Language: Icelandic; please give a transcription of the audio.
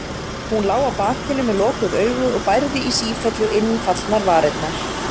Hún lá á bakinu með lokuð augu og bærði í sífellu innfallnar varirnar.